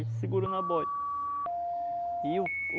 Ele segurou na boia. E o